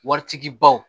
Waritigi baw